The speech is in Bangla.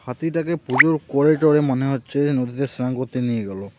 হাতিটাকে পুজোর করে টরে মনে হচ্ছে নদীতে স্নান করতে নিয়ে গেল.